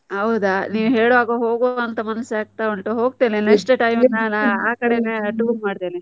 ಹೌದಾ! ನೀವು ಹೇಳ್ವಾಗ ಹೋಗ್ವಾ ಅಂತ ಮನಸ್ಸು ಆಗ್ತ ಉಂಟು ಹೋಕ್ತೇನೆ next time ನಾನ್ ಆ ಕಡೆನೇ tour ಮಾಡ್ತೆನೆ.